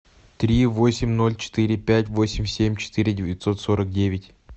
три восемь ноль четыре пять восемь семь четыре девятьсот сорок девять